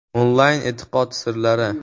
- Onlayn e’tiqod sirlari.